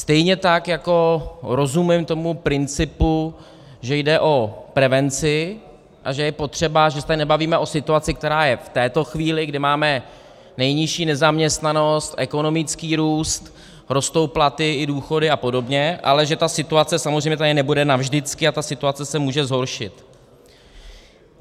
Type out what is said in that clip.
Stejně tak jako rozumím tomu principu, že jde o prevenci a že je potřeba, že se tady nebavíme o situaci, která je v této chvíli, kdy máme nejnižší nezaměstnanost, ekonomický růst, rostou platy i důchody a podobně, ale že ta situace samozřejmě tady nebude navždycky a ta situace se může zhoršit.